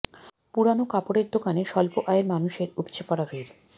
পুরান কাপড়ের দোকানে স্বল্প আয়ের মানুষের উপচে পড়া ভিড়